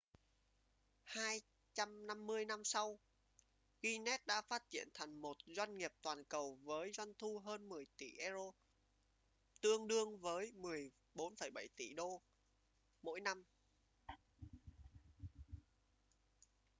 250 năm sau guinness đã phát triển thành một doanh nghiệp toàn cầu với doanh thu hơn 10 tỷ euro tương đương với 14,7 tỷ usd mỗi năm